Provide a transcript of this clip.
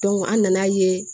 an nana ye